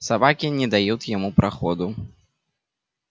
собаки не дают ему проходу